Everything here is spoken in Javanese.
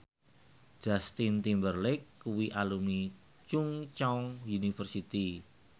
Justin Timberlake kuwi alumni Chungceong University